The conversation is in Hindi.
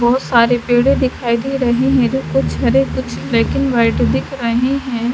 बोहोत सारे पेड़े दिखाई दे रहे है कुछ हरे कुछ ब्लैक एंड वाइट दिख रहे है।